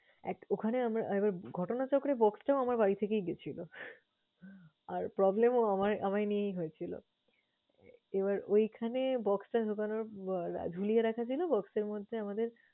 এক ওখানে আমরা একবার ঘটনাচক্রে box টাও আমার বাড়ি থেকেই গেছিল আর problem ও আমার~ আমায় নিয়েই হয়েছিল। এবার ওইখানে box টা ঢুকানোর আহ ঝুলিয়ে রাখা যায় না box এর মধ্যে আমাদের